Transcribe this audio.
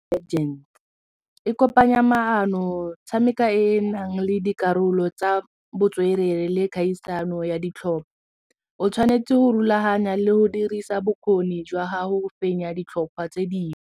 e kopanya maano tshameka e e nang le dikarolo tsa botswerere le kgaisano ya ditlhopha o tshwanetse go rulaganya le go dirisa bokgoni jwa gago go fenya ditlhopha tse dingwe.